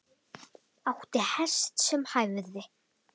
Átti hest sem hæfði.